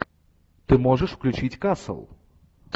ты можешь включить касл